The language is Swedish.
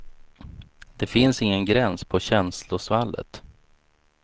Det finns ingen gräns på känslosvallet.